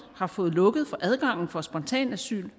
har fået lukket for adgangen for spontanasyl